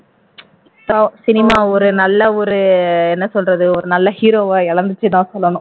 பாவம் cinema ஒரு நல்ல ஒரு என்ன சொல்றது நல்ல ஒரு hero வை இழந்துருச்சுன்னு தான் சொல்லணும்